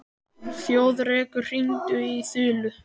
Þjóðrekur, hringdu í Þulu.